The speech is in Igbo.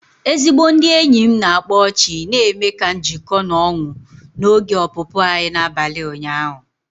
Ezigbo ndị enyi m na-akpa ọchị na-eme ka njiko na ọñu n'oge ọpụpụ anyị n'abalị ụnyahụ.